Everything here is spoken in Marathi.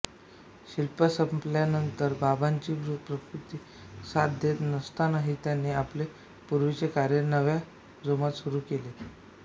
शिक्षा संपल्यानंतर बाबांची प्रकृती साथ देत नसतांनाही त्यांनी आपले पूर्वीचे कार्य नव्या जोमाने सुरू केले